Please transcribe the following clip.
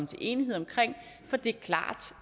til enighed om for det er klart